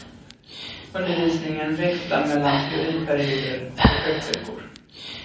Undervisningen växlar mellan teoriperioder och projektveckor.